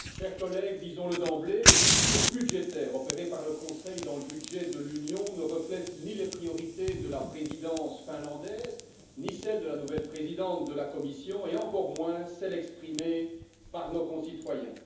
Madame la Présidente, chers collègues, disons le d'emblée, les coupures budgétaires opérées par le Conseil dans le budget de l'Union ne reflètent ni les priorités de la Présidence finlandaise, ni celles de la nouvelle présidente de la Commission et encore moins celles exprimées par nos concitoyens.